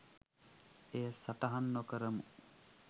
එය සටහන් නොකරමු